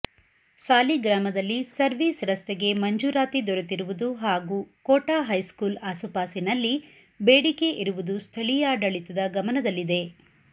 ಸಾಲಿಗ್ರಾಮದಲ್ಲಿ service ರಸ್ತೆಗೆ ಮಂಜೂರಾತಿ ದೊರೆತಿರುವುದು ಹಾಗೂ ಕೋಟ ಹೈಸ್ಕೂಲ್ ಆಸುಪಾಸಿನಲ್ಲಿ ಬೇಡಿಕೆ ಇರುವುದು ಸ್ಥಳೀಯಾಡಳಿತದ ಗಮನದಲ್ಲಿದೆ